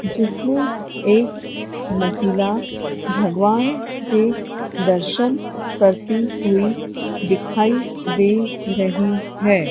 जिसमें एक महिला भगवान के दर्शन करती हुई दिखाई दे रही है।